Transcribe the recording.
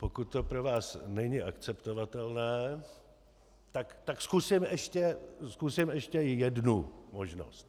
Pokud to pro vás není akceptovatelné, tak zkusím ještě jednu možnost.